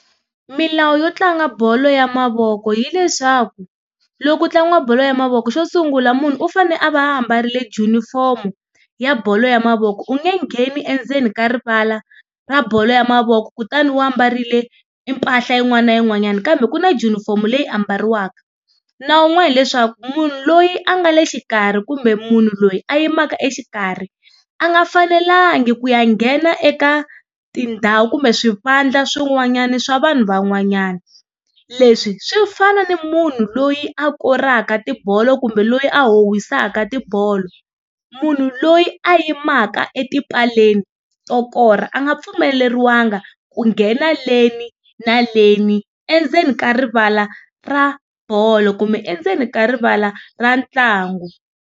Milawu yo tlanga bolo ya mavoko hileswaku, loko ku tlangiwa bolo ya mavoko xo sungula munhu u fane a va a ambarile junifomu ya bolo ya mavoko. U nge ngheni endzeni ka rivala ra bolo ya mavoko kutani u ambarile mpahla yin'wana na yin'wanyana, kambe ku na junifomu leyi ambariwaka. Nawu wun'wani hileswaku munhu loyi a nga le xikarhi kumbe munhu loyi a yimaka exikarhi a nga fanelangi ku ya nghena eka tindhawu kumbe swivandla swin'wanyana swa vanhu van'wanyana. Leswi swi fana ni munhu loyi a koraka tibolo kumbe loyi a howisaka tibolo. Munhu loyi a yimaka etipaleni to korha, a nga pfumeleriwanga ku nghena leni na leni, endzeni ka rivala ra bolo kumbe endzeni ka rivala ra ntlangu.